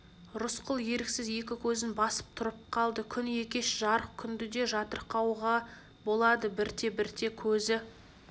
рысқұл еріксіз екі көзін басып тұрып қалды күн екеш жарық күнді де жатырқауға болады бірте-бірте көзі